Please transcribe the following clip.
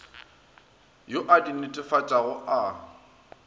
yo a di netefatšago a